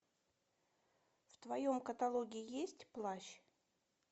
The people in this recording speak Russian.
в твоем каталоге есть плащ